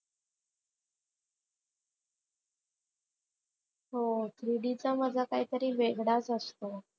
हो three D चा मजा काहीतरी वेगळाच असतो.